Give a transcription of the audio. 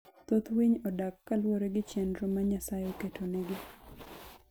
Thoth winy odak kaluwore gi chenro ma Nyasaye oketonegi.